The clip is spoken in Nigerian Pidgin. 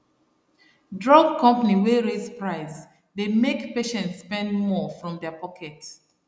drug company wey raise price dey make patients spend more from their pocket